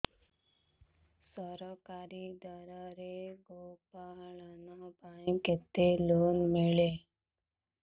ସରକାରୀ ସ୍ତରରେ ଗୋ ପାଳନ ପାଇଁ କେତେ ଲୋନ୍ ମିଳେ